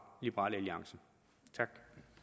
liberal alliance tak